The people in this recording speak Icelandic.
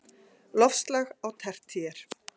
Loftslag á tertíer